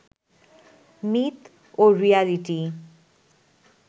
myth ও reality